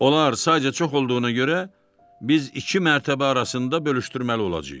Onlar sadəcə çox olduğuna görə biz iki mərtəbə arasında bölüşdürməli olacağıq.